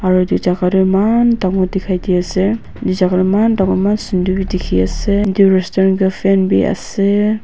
aro edu jaka toh eman dangor dikhai diase edu jaka toh eman dangor eman sunder bi dikhiase edu restaurant tu fan biase.